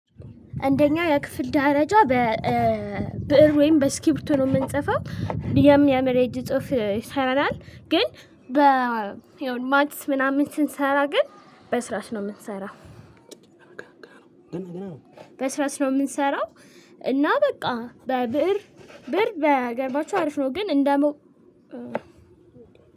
አንደኛ የክፍል ደረጃ በብእር ወይም በእስክሪቶ ነው የምንጽፈው የሚያምር የእጅ ጽሁፍ ይሰራል። ግን በየሆነ ማትስ ምናምን ስንሰራ ግን በእርሳስ ነው የምንሰራው በስራስ ነው የምንሰራው እና በቃ በብእር ብእር ባይገርማችሁ አሪፍ ነው ግን እንደው